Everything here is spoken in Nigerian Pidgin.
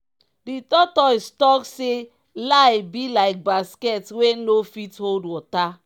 di tortoise talk say lie be like basket wey no fit hold water.